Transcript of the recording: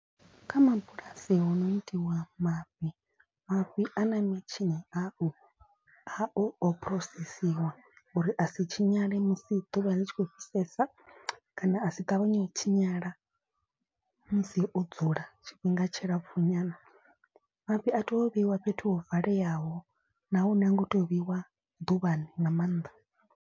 Kha mabulasi ho no itiwa mafhi mafhi a na mitshini au a o phurosesiwa uri a si tshinyale musi ḓuvha ḽi tshi khou fhisesa. Kana a si ṱavhanye u tshinyala musi o dzula tshifhinga tshilapfu nyana. Mafhi a teo vheiwa fhethu ho valeyaho nahone ha ngo teo vheiwa ḓuvhani nga maanḓa.